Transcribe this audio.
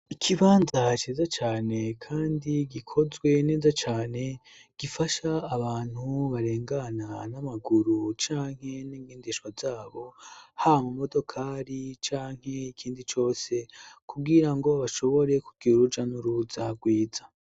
Ikibanza ceza cane, kandi gikozwe neza cane gifasha abantu barengana n'amaguru canke n'ngoindishwa zabo ha mu modokari canke ikindi cose kuwira ngo bashobore kugira uruja n'uruza rwiza.